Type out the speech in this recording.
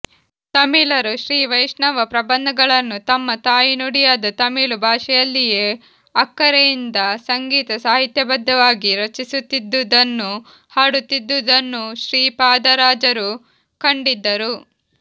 ತಮಿಳರು ಶ್ರೀವೈಷ್ಣವ ಪ್ರಬಂಧಗಳನ್ನು ತಮ್ಮ ತಾಯಿನುಡಿಯಾದ ತಮಿಳು ಭಾಷೆಯಲ್ಲಿಯೇ ಅಕ್ಕರೆಯಿಂದ ಸಂಗೀತ ಸಾಹಿತ್ಯಬದ್ಧವಾಗಿ ರಚಿಸುತ್ತಿದ್ದುದನ್ನೂ ಹಾಡುತ್ತಿದ್ದುದನ್ನೂ ಶ್ರೀಪಾದರಾಜರು ಕಂಡಿದ್ದರು